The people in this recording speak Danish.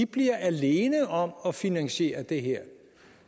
bliver alene om at finansiere det her